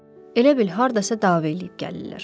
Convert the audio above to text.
Elə bil hardasa dava eləyib gəlirlər.